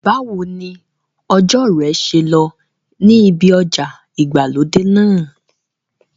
Báwo ni ọjọ́ rẹ ṣe lọ níbi ọjà ìgbàlódé náà?